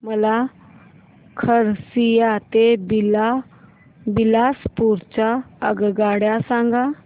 मला खरसिया ते बिलासपुर च्या आगगाड्या सांगा